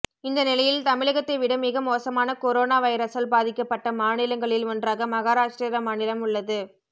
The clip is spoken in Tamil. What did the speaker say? இந்த நிலையில் தமிழகத்தை விட மிக மோசமான கொரோனா வைரசால் பாதிக்கப்பட்ட மாநிலங்களில் ஒன்றாக மகாராஷ்டிர மாநிலம் உள்ளது